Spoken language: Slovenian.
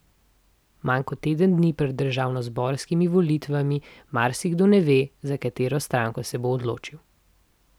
Manj kot teden dni pred državnozborskimi volitvami marsikdo ne ve, za katero stranko se bo odločil.